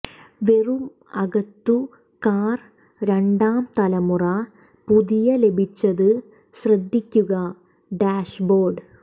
വെറും അകത്തു കാർ രണ്ടാം തലമുറ പുതിയ ലഭിച്ചത് ശ്രദ്ധിക്കുക ഡാഷ്ബോർഡ്